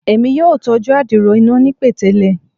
Emi yoo tọju adiro ina ni petele